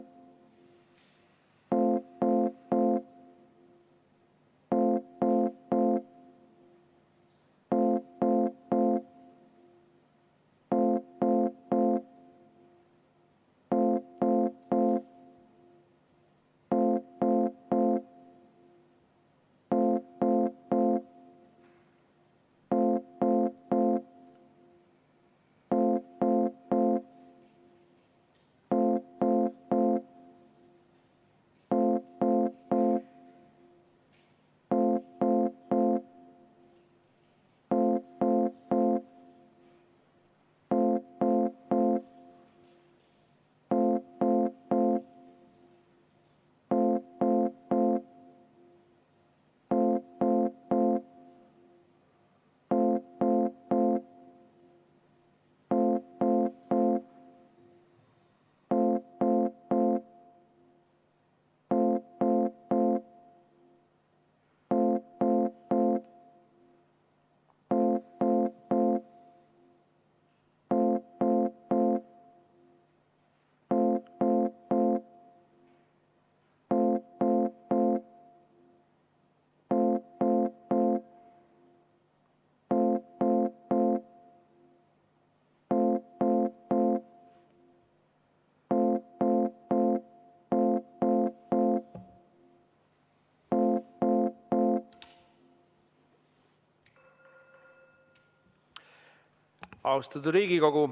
Austatud Riigikogu!